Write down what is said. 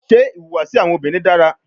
Ṣe ihuwasi awọn obinrin dara?